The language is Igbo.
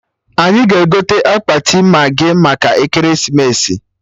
Anyị ga-egote akpati maghị maka ekeresimesi